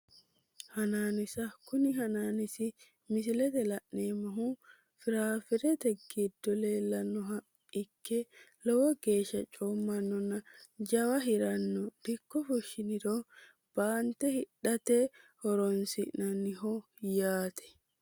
Hanaanisa kuni hanaanisi misilete la`neemohuno firafiirete giddo leelanoha ikke lowo geesha coomanona jawa hirano dikko fushinirono baante hidhate horonsinaniho yaate.